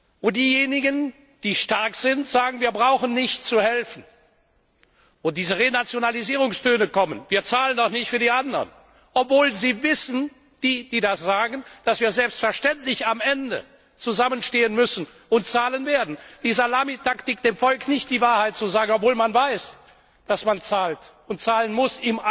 Wenn diejenigen, die stark sind, sagen Wir brauchen nicht zu helfen. Wenn diese Renationalisierungstöne kommen Wir zahlen doch nicht für die anderen, obwohl die, die das sagen, wissen, dass wir selbstverständlich am Ende zusammenstehen müssen und zahlen werden. Die Salamitaktik, dem Volk nicht die Wahrheit zu sagen, obwohl man weiß, dass man im eigenen Interesse zahlt und zahlen muss,